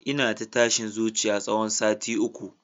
Ina ta tashin zuciya tsawon sati uku